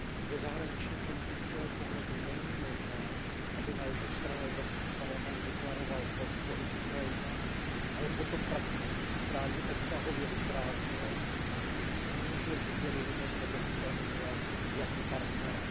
Ze zahraničněpolitického pohledu není možné, aby na jednu stranu Evropský parlament deklaroval podporu Ukrajině, ale potom prakticky zprávu obsahově vyprázdnil a tím snížil důvěryhodnost Evropské unie jako partnera.